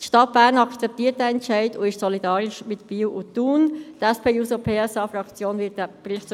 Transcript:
Die Stadt Bern akzeptiert diesen Entscheid und ist mit Biel und Thun solidarisch.